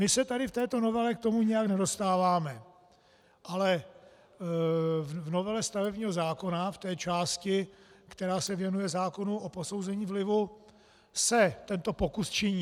My se tady v této novele k tomu nějak nedostáváme, ale v novele stavebního zákona, v té části, která se věnuje zákonu o posouzení vlivu, se tento pokus činí.